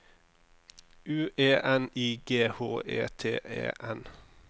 U E N I G H E T E N